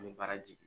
An bɛ baara jigin